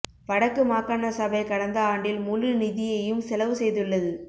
வடக்கு மாகாண சபை கடந்த ஆண்டில் முழு நிதியையும் செலவு செய்துள்ளது